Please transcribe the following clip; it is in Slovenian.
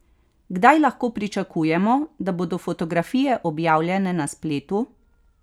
Kdaj lahko pričakujemo, da bodo fotografije objavljene na spletu?